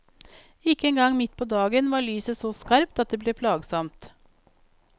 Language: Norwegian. Ikke engang midt på dagen var lyset så skarpt at det ble plagsomt.